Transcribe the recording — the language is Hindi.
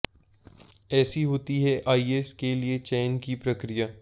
ऐसी होती है आईएस के लिए चयन की प्रक्रिया